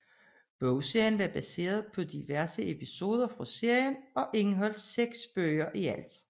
Bogserien var baseret på diverse episoder fra serien og indeholdt 6 bøger i alt